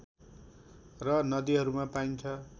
र नदीहरूमा पाइन्छ